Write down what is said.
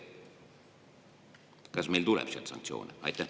Kas meil tuleb sealt sanktsioone?